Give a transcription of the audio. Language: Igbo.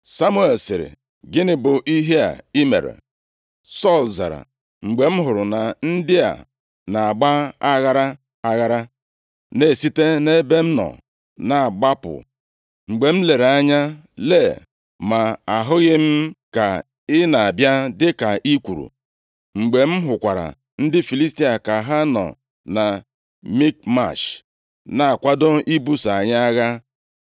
Samuel sịrị, “Gịnị bụ ihe a i mere?” Sọl zara, “Mgbe m hụrụ na ndị a na-agba aghara aghara, na-esite nʼebe m nọ na-agbapụ, mgbe m lere anya lee, ma ahụghị m ka ị na-abịa dịka i kwuru, mgbe m hụkwara ndị Filistia ka ha nọ na Mikmash, na-akwado ibuso anyị agha,